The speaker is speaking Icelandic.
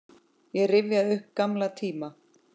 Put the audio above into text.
Ég rifjaði upp gamla tíma.